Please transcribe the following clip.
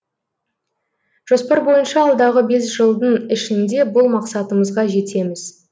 жоспар бойынша алдағы бес жылдың ішінде бұл мақсатымызға жетеміз